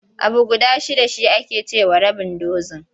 Abu guda shidda shi ake ce wa rabin dozin.